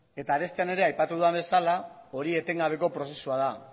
eta arestian ere aipatu dudan bezala hori etengabeko prozesua da